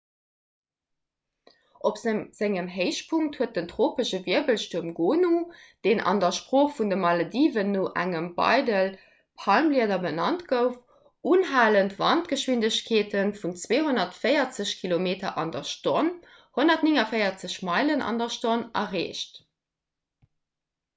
op sengem héichpunkt huet den tropesche wirbelstuerm gonu deen an der sprooch vun de malediven no engem beidel palmblieder benannt gouf unhalend wandgeschwindegkeete vun 240 kilometer an der stonn 149 meilen an der stonn erreecht